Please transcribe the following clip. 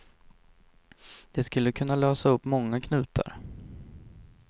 Det skulle kunna lösa upp många knutar.